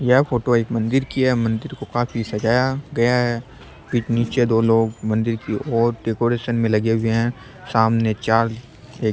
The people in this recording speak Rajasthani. यह फोटो एक मंदिर की है मंदिर को काफी सजाया गया है फिर निचे दो लोग मंदिर के और डेकोरेशन पे लगे है सामने चार एक --